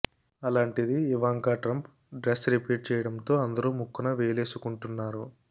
అలాంటిది Ivanka Trump dress repeat చేయడంతో అందరూ ముక్కున వేలేసుకుంటున్నారు